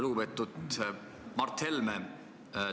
Lugupeetud Mart Helme!